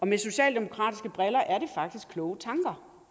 med socialdemokratiske briller er det faktisk kloge tanker